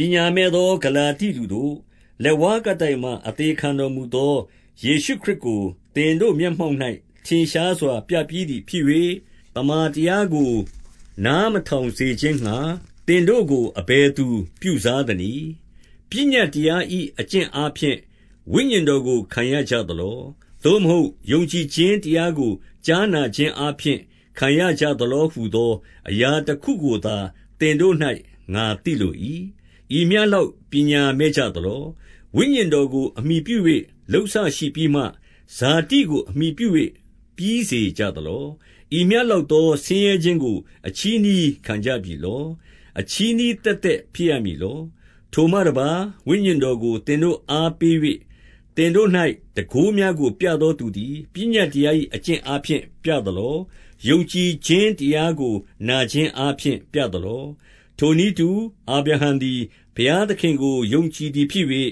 ပညာမဲ့သောဂလာတိလူတို့၊ လက်ဝါးကပ်တိုင်မှာ အသေခံတော်မူသော ယေရှုခရစ်ကို သင်တို့ မျက်မှောက်၌ ထင်ရှားစွာပြပြီးသည်ဖြစ်၍၊ သမ္မာတရားကို နားမထောင်စေခြင်းငှါ သင်တို့ကို အဘယ်သူပြုစား သနည်း။ 2 ပညတ်တရား၏အကျင့်အားဖြင့် ဝိညာဉ်တော်ကို ခံရကြသလော။ သို့မဟုတ်ယုံကြည်ခြင်းတရားကို ကြားနာခြင်းအားဖြင့် ခံရကြသလောဟုသော အရာတခုကိုသာ သင်တို့၌ငါသိလို၏။ 3 ဤမျှလောက် ပညာမဲ့ကြသလော။ ဝိညာဉ်တော်ကိုအမှီပြု၍ လုပ်စရှိပြီးမှ၊ ဇာတိကိုအမှီပြု၍ ပြီးစေကြသလော။ 4 ဤမျှလောက်ဆင်းရဲခြင်းကို အချည်းနှီး ခံကြပြီလော။ အချည်းနှီး သက်သက်ဖြစ်ရမည်လော။ 5 ထိုမှတပါးဝိညာဉ်တော်ကို သင်တို့အား ပေး၍၊ သင်တို့၌တန်ခိုးများကိုပြသောသူသည် ပညတ်တရား၏ အကျင့်အားဖြင့် ပြသလော။ ယုံကြည်ခြင်းတရားကို နာခြင်းအားဖြင့် ပြသလော။ 6 ထိုနည်းတူအာဗြဟံသည် ဘုရားသခင်ကို ယုံကြည်သည်ဖြစ်၍၊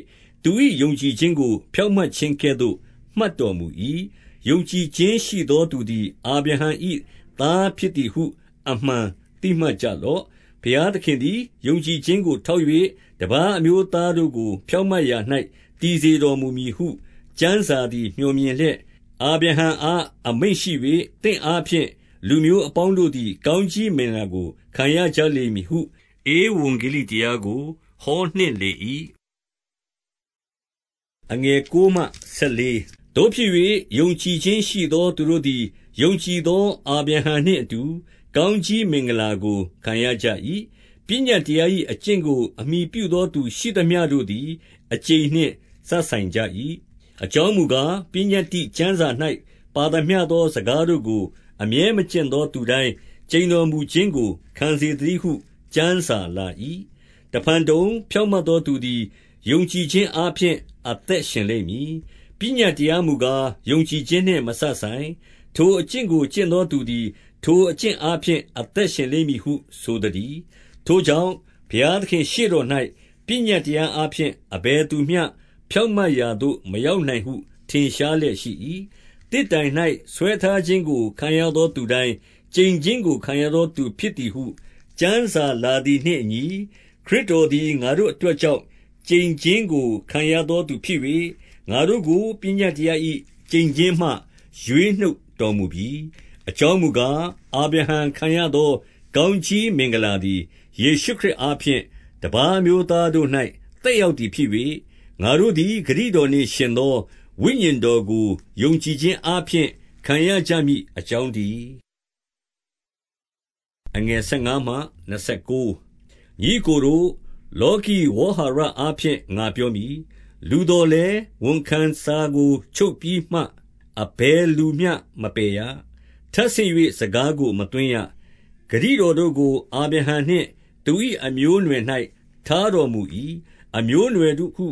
သူ၏ယုံကြည်ခြင်းကို ဖြောင့်မတ် ခြင်းကဲ့သို့မှတ်တော်မူ၏။ 7 ယုံကြည်ခြင်းရှိသောသူသည် အာဗြဟံ၏သား ဖြစ်သည်ဟု အမှန်သိမှတ်ကြလော့။ 8 ဘုရားသခင်သည် ယုံကြည်ခြင်းကိုထောက်၍၊ တပါးအမျိုးသားတို့ကို ဖြောင့်မတ်ရာ၌ တည်စေတော်မူ မည်ဟု ကျမ်းစာသည်မြော်မြင်လျက်၊ အာဗြဟံအား အမိန့်ရှိ၍၊ သင့်အားဖြင့်လူအပေါင်းတို့သည် ကောင်း ကြီးမင်္ဂလာကို ခံရကြလိမ့်မည်ဟု ဧဝံဂေလိတရားကို ဟောနှင့် လေ၏။ 9 သို့ဖြစ်၍ယုံကြည်ခြင်းရှိသောသူတို့သည် ယုံကြည်သော အာဗြဟံနှင့်အတူ ကောင်းကြီးမင်္ဂလာကို ခံရကြ၏။ 10 ပညတ်တရား၏အကျင့်ကို အမှီပြုသောသူ ရှိသမျှတို့သည် အကျိန်နှင့်စပ်ဆိုင်ကြ၏။ အကြောင်းမူ ကား၊ ပညတ္တိကျမ်းစာ၌ပါသမျှသော စကားတို့ကို အမြဲမကျင့်သောသူတိုင်း ကျိန်တော်မူခြင်းကို ခံစေ သတည်းဟု ကျမ်းစာလာ၏။ 11 တဖန်တုံ၊ ဖြောင့်မတ်သောသူသည် ယုံကြည်ခြင်းအားဖြင့် အသက်ရှင်လိမ့်မည်။ 12 ပညတ်တရားမူကား၊ ယုံကြည်ခြင်းနှင့် မစပ်ဆိုင်။ ထိုအကျင့်ကို ကျင့်သောသူသည်၊ ထိုအကျင့်အား ဖြင့် အသက်ရှင်လိမ့်မည်ဟု ဆိုသတည်း။ 13 ထိုကြောင့် ဘုရားသခင်ရှေ့တော်၌ ပညတ်တရားအားဖြင့် အဘယ်သူမျှဖြောင့်မတ်ရာသို့ မရောက် နိုင်ဟုထင်ရှားလျက်ရှိ၏။ သစ်တိုင်၌ ဆွဲထားခြင်း ခံရသောသူတိုင်း ကျိန်ခြင်းကို ခံရသောသူဖြစ်သည်ဟု ကျမ်းစာလာသည်နှင့်အညီ၊ ခရစ်တော်သည် ငါတို့ အတွက်ကြောင့် ကျိန်ခြင်းကို ခံရသောသူဖြစ်၍၊ ငါတို့ကို ပညတ်တရား၏ကျိန်ခြင်းမှရွေးနှုတ်တော်မူပြီ။ 14 အကြောင်းမူကား၊ အာဗြဟံခံရသော ကောင်းကြီး မင်္ဂလာသည် ယေရှုခရစ်အားဖြင့် တပါးအမျိုးသား တို့၌ သက်ရောက်သည်ဖြစ်၍၊ ငါတို့သည် ဂတိတော်နှင့် ယှဉ်သော ဝိညာဉ်တော်ကိုယုံကြည်ခြင်းအားဖြင့် ခံရ ကြမည်အကြောင်းတည်း။ 15 ညီအစ်ကိုတို့၊ လောကီဝေါဟာရအားဖြင့် ငါပြောမည်။ လူသော်လည်း ဝန်ခံစာကိုချုပ်ပြီးမှ အဘယ် သူမျှမပယ်ရ။ ထပ်ဆင့်၍စကားကို မသွင်းရ။ 16 ဂတိတော်တို့ကို အာဗြဟံနှင့် သူ၏အမျိုးအနွယ်၌ ထားတော်မူ၏။ အမျိုးအနွယ်တို့ဟု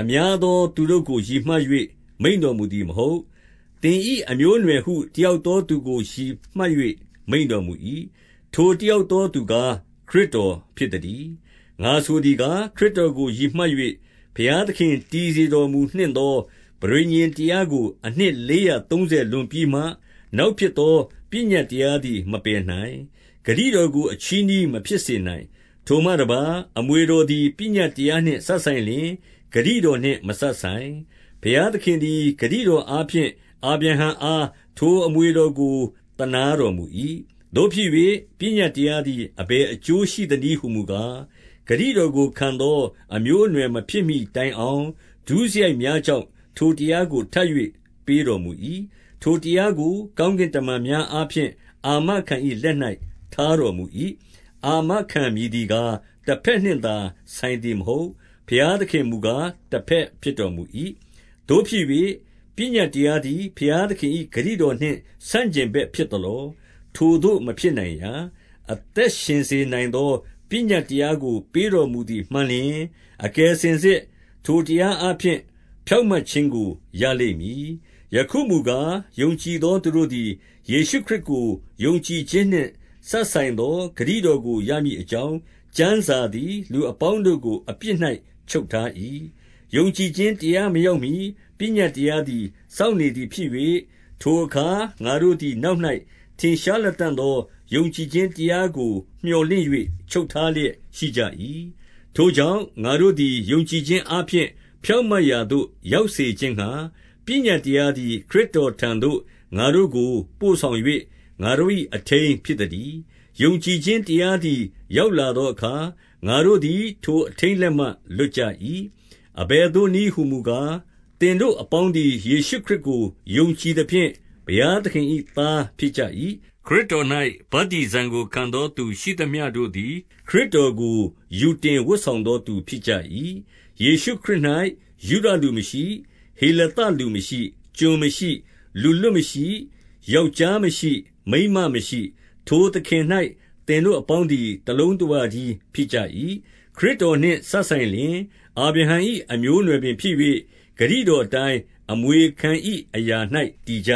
အများသောသူ တို့ကိုရည်မှတ်၍ မိန့်တော်မူသည်မဟုတ်။ သင်၏ အမျိုးအနွယ်ဟု တယောက်သောသူကို ရည်မှတ်၍ မိန့်တော်မူ၏။ ထိုတယောက်သောသူကား ခရစ်တော်ဖြစ်သတည်း။ 17 ငါဆိုသည်ကား၊ ခရစ်တော်ကိုရည်မှတ်၍ ဘုရားသခင်တည် စေတော်မူနှင့်သောပဋိညာဉ်တရားကို အနှစ်လေးရာသုံးဆယ်လွန်ပြီးမှ နောက်ဖြစ်သော ပညတ်တရားသည်မပယ်နိုင်။ ဂတိတော်ကို အချည်းနှီးမဖြစ်စေနိုင်။ 18 ထိုမှတပါး၊ အမွေတော်သည် ပညတ်တရားနှင့် စပ်ဆိုင်လျှင် ဂတိတော်နှင်မစပ်ဆိုင်။ ဘုရားသခင်သည် ဂတိတော်အားဖြင့် အာဗြဟံအား ထိုအမွေတော်ကို သနားတော်မူ၏။ 19 သို့ဖြစ်၍ပညတ်တရားသည် အဘယ်အကျိုးရှိသနည်းဟူမူကား၊ ဂတိတော်ကိုခံသော မျိုးအနွယ်မဖြစ်မှီ တိုင်အောင်၊ ဒုစရိုက်များကြောင့် ထိုတရားကို ထပ်၍ ပေးတော်မူ၏။ ထိုတရားကိုကောင်းကင်တမန်များအား ဖြင့်အာမခံ၏ လက်၌ထားတော်မူ၏။ 20 အာမခံမည်သည်ကား၊ တဘက်နှင့်သာ ဆိုင်သည်မဟုတ်။ ဘုရားသခင်မူကား တဘက်ဖြစ်တော်မူ၏။ 21 သို့ဖြစ်၍ ပညတ်တရားသည် ဘုရားသခင်၏ ဂတိတော်နှင့် ဆန့်ကျင်ဘက်ဖြစ်သလော။ ထိုသို့ မဖြစ်နိုင်ရာ။ အသက်ရှင်စေနိုင်သော ပညတ်တရားကို ပေးတော်မူသည်မှန်လျှင်၊ အကယ်စင်စစ် ထိုတရားအားဖြင့် ဖြောင့်မတ်ခြင်းကိုရလိမ့်မည်။ 22 ယခုမူကား၊ ယုံကြည်သောသူတို့သည် ယေရှုခရစ်ကို ယုံကြည်ခြင်းနှင့် စပ်ဆိုင်သော ဂတိတော်ကို ရမည်အကြောင်း ကျမ်းစာသည်လူအပေါင်းတို့ကို အပြစ်၌ချုပ်ထား၏။ 23 ယုံကြည်ခြင်းတရားမရောက်မှီ ပညတ်တရားသည်စောင့်နေသည်ဖြစ်၍၊ ထိုအခါငါတို့သည် နောက်၌ ထင်ရှားလတံ့သော ယုံကြည်ခြင်းတရားကိုမြော်လင့်၍ ချုပ်ထားလျက်ရှိကြ၏။ 24 ထိုကြောင့် ငါတို့သည်ယုံကြည်ခြင်းအားဖြင့် ဖြောင့်မတ်ရာသို့ ရောက်စေခြင်းငှါ ပညတ်တရားသည် ခရစ်တော်ထံသို့ ငါတို့ကိုပို့ဆောင်၍ ငါတို့၏ အထိန်းဖြစ်သတည်း။ 25 ယုံကြည်ခြင်းတရားသည် ရောက်လာသောအခါ၊ ငါတို့သည် ထိုအထိန်းလက်မှလွတ်ကြ၏။ 26 အဘယ်သို့နည်းဟူမူကား၊ သင်တို့အပေါင်းသည် ယေရှုခရစ်ကို ယုံကြည်သဖြင့် ဘုရားသခင်၏သား ဖြစ်ကြ၏။ 27 ခရစ်တော်၌ ဗတ္တိဇံကိုခံသောသူရှိသမျှတို့သည် ခရစ်တော်ကို ယူတင်ဝတ်ဆောင်သောသူဖြစ်ကြ၏။ 28 ယေရှုခရစ်၌ယုဒလူမရှိ၊ ဟေလသလူမရှိ၊ ကျွန်မရှိ။ လူလွတ်မရှိ၊ ယောက်ျားမရှိ၊ မိန်းမမရှိ၊ ထိုသခင်၌ သင်တို့အပေါင်းသည် တလုံးတဝတည်းဖြစ်ကြ၏။ 29 ခရစ်တော်နှင့်စပ်ဆင်လျှင်အာဗြဟံ၏ အမျိုးအနွယ်ပင်ဖြစ်၍၊ ဂတိတော်အတိုင်း အမွေခံ၏ အရာ၌ တည်ကြ